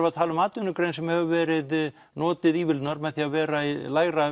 að tala um atvinnugrein sem hefur verið notuð með því að vera í lægra